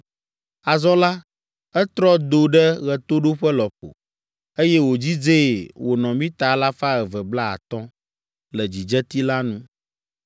Azɔ la, etrɔ do ɖe ɣetoɖoƒe lɔƒo, eye wòdzidzee wònɔ mita alafa eve kple blaatɔ̃ (250) le dzidzeti la nu